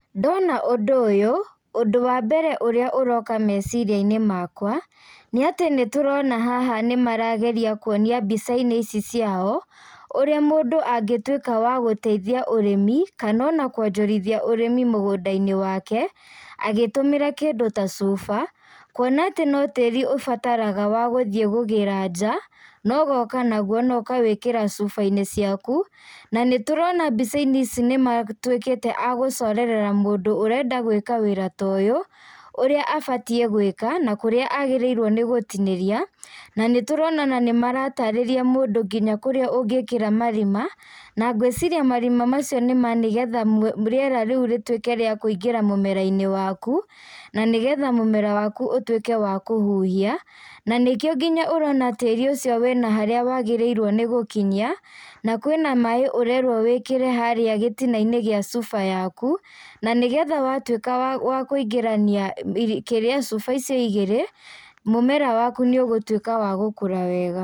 Ndona ũndũ ũyũ, ũndũ wa mbere ũrĩa ũroka meciria-inĩ makwa, nĩatĩ nĩtũrona haha nĩmarageria kuonia mbica-inĩ ici ciao, ũrĩa mũndũ angĩtuĩka wa gũteithia ũrĩmi, kanona kwonjorithia ũrimi mũgũnda-inĩ wake, agĩtũmĩra kĩndũ ta cuba, kuona atĩ no tĩri ũbataraga wa gũthii kũgĩra njaa, nogoka naguo nogekĩra cuba-inĩ ciaku, na nĩtũrona mbica-inĩ ici nĩmatuĩkĩte a gũcorerera mũndũ ũrenda gwĩka wĩra ta ũyũ, ũrĩa abatiĩ gwĩka na kũrĩa agĩrĩirwo nĩ gũtinĩria, nanĩtũrona ona nĩmaratarĩria mũndũ nginya kũrĩa ũngĩkĩra marima, na ngwĩciria marima macio nĩma nĩgetha rĩera rĩu rĩtuĩke rĩa kũingĩra mũmera-inĩ waku, nanĩgetha mũmera waku ũtuĩke wa kũhuhia, na nĩkĩo nginya ũrona tĩri ũcio wĩna harĩa wagĩrĩirwo nĩ gũkinyia, na kwĩna maĩ ũrerwo wĩkĩre harĩa gĩtina-inĩ gĩa cuba yaku, nanĩgetha watuĩka wa wakũingĩrania kĩrĩa cuba icio igĩrĩ, mũmera waku nĩũgũtuĩka wa gũkũra wega.